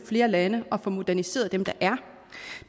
flere lande og få moderniseret dem der er